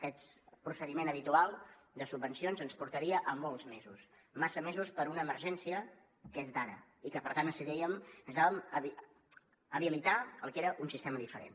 el procediment habitual de subvencions ens portaria a molts mesos massa mesos per una emergència que és d’ara i que per tant necessitàvem habilitar el que era un sistema diferent